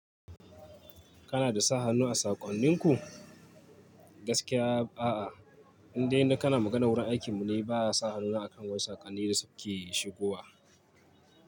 Kana da sa hannu a sakonninku? Gaskiya a'a, inda ina kana magana wurin aikin mu ne, ba sa hannun akan wani sakanni da suke shigowa.